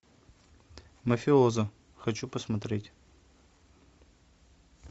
мафиоза хочу посмотреть